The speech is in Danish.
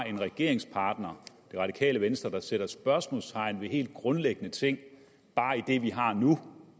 en regeringspartner det radikale venstre der sætter spørgsmålstegn ved helt grundlæggende ting i bare det vi har nu